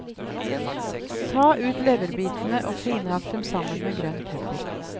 Ta ut leverbitene og finhakk dem sammen med grønn pepper.